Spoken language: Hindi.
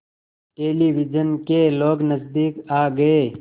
टेलिविज़न के लोग नज़दीक आ गए